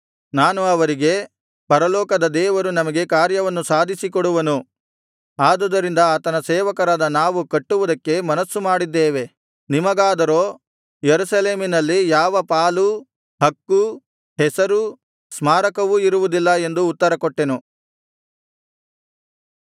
ನಾನು ಅವರಿಗೆ ಪರಲೋಕದ ದೇವರು ನಮಗೆ ಕಾರ್ಯವನ್ನು ಸಾಧಿಸಿಕೊಡುವನು ಆದುದರಿಂದ ಆತನ ಸೇವಕರಾದ ನಾವು ಕಟ್ಟುವುದಕ್ಕೆ ಮನಸ್ಸುಮಾಡಿದ್ದೇವೆ ನಿಮಗಾದರೋ ಯೆರೂಸಲೇಮಿನಲ್ಲಿ ಯಾವ ಪಾಲೂ ಹಕ್ಕೂ ಹೆಸರೂ ಸ್ಮಾರಕವೂ ಇರುವುದಿಲ್ಲ ಎಂದು ಉತ್ತರಕೊಟ್ಟೆನು